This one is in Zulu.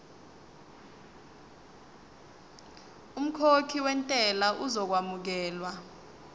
umkhokhi wentela uzokwamukelwa